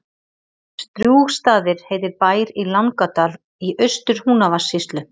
Strjúgsstaðir heitir bær í Langadal í Austur-Húnavatnssýslu.